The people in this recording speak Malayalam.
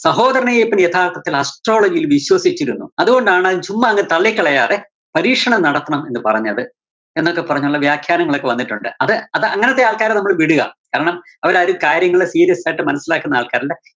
സഹോദരന്‍ അയ്യപ്പന്‍ യഥാര്‍ത്ഥത്തില്‍ astrology യില്‍ വിശ്വസിച്ചിരുന്നു. അതോണ്ടാണ് ചുമ്മാ അങ്ങ് തള്ളിക്കളയാതെ പരീക്ഷണം നടത്തണം എന്ന് പറഞ്ഞത്. എന്നൊക്കെപ്പറഞ്ഞുള്ള വ്യാഖ്യാനങ്ങളൊക്കെ വന്നിട്ടോണ്ട്. അത്, അത് അങ്ങനത്തെ ആള്‍ക്കാരെ നമ്മള് വിടുക. കാരണം അവരാരും കാര്യങ്ങള് serious ആയിട്ട് മനസ്സിലാക്കുന്ന ആള്‍ക്കാരല്ല.